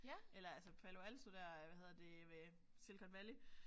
Eller altså Palo Alto der hvad hedder det øh Silicon Valley